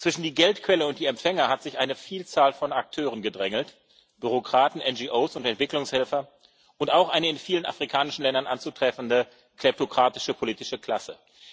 Zwischen die Geldquelle und die Empfänger hat sich eine Vielzahl von Akteuren gedrängelt Bürokraten, NGOs und Entwicklungshelfer und auch eine in vielen afrikanischen Ländern anzutreffende kleptokratische politische Klasse.